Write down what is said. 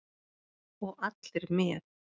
Og allir með.